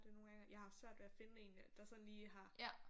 Det nogle gange jeg har haft svært ved at finde en der sådan lige har